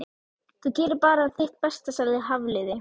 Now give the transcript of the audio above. Þú gerir bara þitt besta sagði Hafliði.